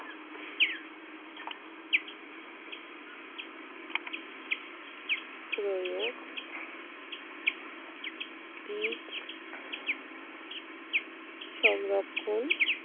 প্রয়োগ বীজ সংরক্ষণ